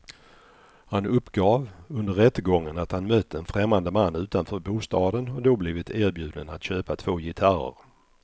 Han uppgav under rättegången att han mött en främmande man utanför bostaden och då blivit erbjuden att köpa två gitarrer.